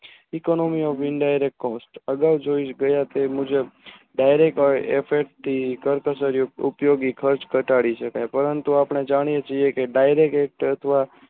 અગાવ જોય ગયા તે મુજબ ડાયરેક ઉપયોગી કાચ ઘટાડી છે પરંતુ આપણે જાણીયે છીએ કે ડાયરેક એક